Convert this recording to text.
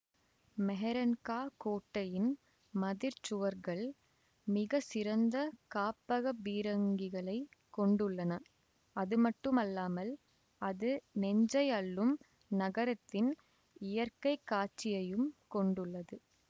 மெஹ்ரன்காஹ் கோட்டையின் மதிற்சுவர்கள் மிகச்சிறந்த காப்பக பீரங்கிகளைக் கொண்டுள்ளன அதுமட்டுமல்லாமல் அது நெஞ்சை அள்ளும் நகரத்தின் இயற்கைக்காட்சியையும் கொண்டுள்ளது